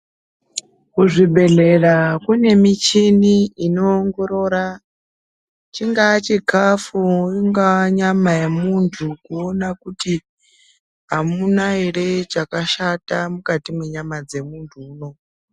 Kuzvibhedhlera kune michini inoongorora chingaa chikafu ingaa nyama yemunthu kuona kuti amuna ere chakashata mukati mwenyama dzemunthu uya.